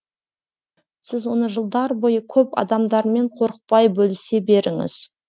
сіз оны жылдар бойы көп адамдармен қорықпай бөлісе беріңіз